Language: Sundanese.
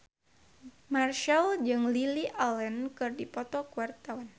Marchell jeung Lily Allen keur dipoto ku wartawan